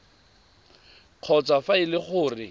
kgotsa fa e le gore